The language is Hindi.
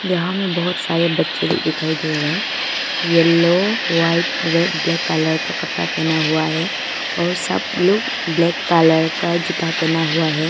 यहां में बहुत सारे बच्चे लोग दिखाई दे रहे हैं yellow white red black colour का कपड़ा पहना हुआ है और सब लोग ब्लैक कलर का जूता पहना हुआ है।